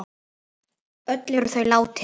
Öll eru þau látin.